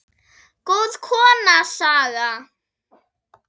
Góð kona, Saga.